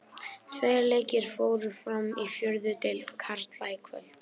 Tveir leikir fóru fram í fjórðu deild karla í kvöld.